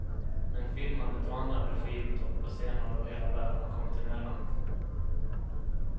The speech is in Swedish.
Men filmandet och andra regiuppdrag på scener över hela världen har kommit emellan.